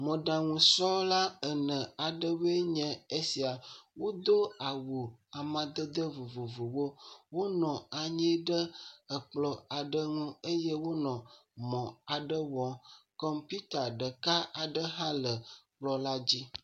Mɔɖaŋusrɔ̃la ene aɖewoe nye esia. Wodo awu amadede vovovowo. Wonɔ anyi ɖe ekplɔ̃ aɖe ŋu eye wonɔ mɔ aɖe wɔm. Kɔmpiuta ɖeka aɖe hã le ekplɔ̃ la dzi.